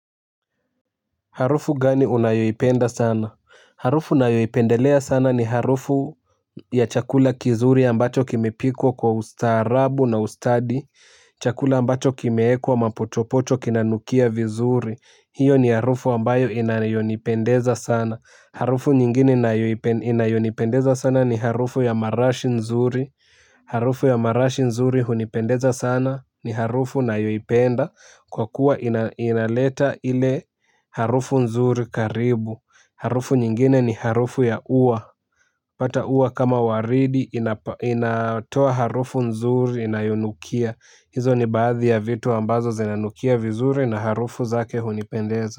Harufu gani unayoipenda sana? Harufu ninayoipendelea sana ni harufu ya chakula kizuri ambacho kimepikwa kwa ustaarabu na ustadi. Chakula ambacho kimeekwa mapochopocho kinanukia vizuri. Hiyo ni harufu ambayo inayonipendeza sana. Harufu nyingine inayonipendeza sana ni harufu ya marashi nzuri. Harufu ya marashi nzuri hunipendeza sana ni harufu nayoipenda. Kwa kuwa inaleta ile harufu nzuri karibu. Harufu nyingine ni harufu ya uwa. Pata uwa kama waridi inatoa harufu nzuri inayonukia. Hizo ni baadhi ya vitu ambazo zinanukia vizuri na harufu zake hunipendeza.